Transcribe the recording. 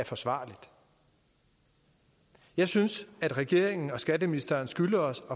forsvarligt jeg synes at regeringen og skatteministeren skylder os